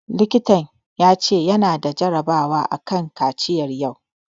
Likitan ya ce ya na da jarabawa a kan kaciya yau